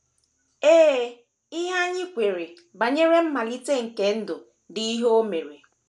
Ee, ihe anyị ihe anyị kweere banyere mmalite nke ndụ dị ihe o mere!